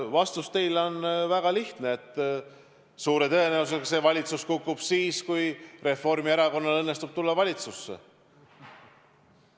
Vastus teile on väga lihtne: suure tõenäosusega see valitsus kukub siis, kui Reformierakonnal õnnestub tulla valitsusse.